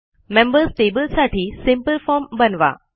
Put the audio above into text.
members table साठी simple form बनवा